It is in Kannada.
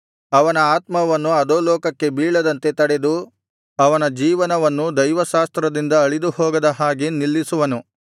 ಅವನ ಆತ್ಮವನ್ನು ಅಧೋಲೋಕಕ್ಕೆ ಬೀಳದಂತೆ ತಡೆದು ಅವನ ಜೀವವನ್ನು ದೈವಾಸ್ತ್ರದಿಂದ ಅಳಿದು ಹೋಗದ ಹಾಗೆ ನಿಲ್ಲಿಸುವನು